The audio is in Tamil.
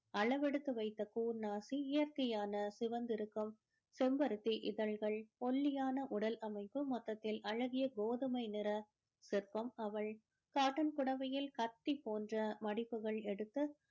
அளவெடுத்து வைத்த கூர் நாசி இயற்கையான சிவந்துருக்கும் செம்பருத்தி இதழ்கள் ஒல்லியான உடல் அமைப்பு மொத்தத்தில அழகிய கோதுமை நிற சிற்பம் அவள் காட்டன் புடவையில கத்தி போன்ற மடிப்புகள் எடுத்து